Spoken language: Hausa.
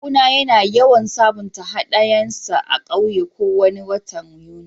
Kawu na yana yawan sabunta hadayan sa a'ƙauye ko wani watan Yuni.